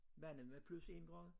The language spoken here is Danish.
Vandet var plus 1 grad